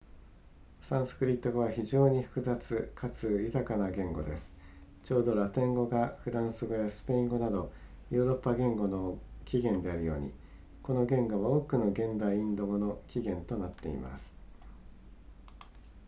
サンスクリット語は非常に複雑かつ豊かな言語ですちょうどラテン語がフランス語やスペイン語などヨーロッパ言語の起源であるようにこの言語は多くの現代インド語の起源となっています